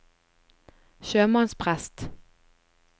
sjømannsprest